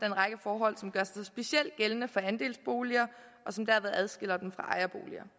en række forhold som gør sig specielt gældende for andelsboliger og som dermed adskiller dem fra ejerboliger